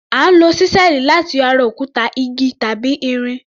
À ń lo ṣísẹ́ẹ̀lì láti yọ ara òkúta, igi tàbí irin.